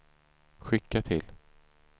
skicka till